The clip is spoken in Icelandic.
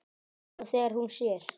Nú þegar hún sér.